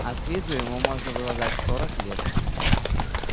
а с виду ему можно было дать сорок лет